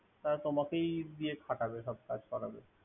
তা তোমাকে দিয়ে খাটাবে সব কাজ করাবে।